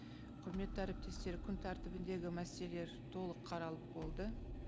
құрметті әріптестер күн тәртібіндегі мәселелер толық қаралып болды